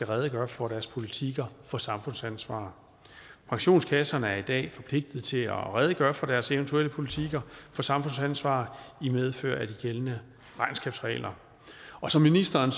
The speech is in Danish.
redegøre for deres politikker for samfundsansvar pensionskasserne er i dag forpligtet til at redegøre for deres eventuelle politikker for samfundsansvar i medfør af de gældende regnskabsregler og som ministeren